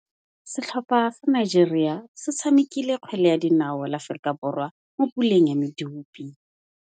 Setlhopha sa Nigeria se tshamekile kgwele ya dinaô le Aforika Borwa mo puleng ya medupe.